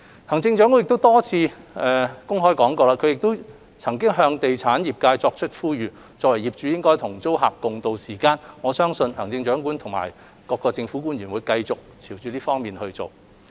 行政長官曾多次公開向地產業界作出呼籲，表明作為業主須與租客共渡時艱，我相信行政長官與各政府官員會繼續進行這方面的工作。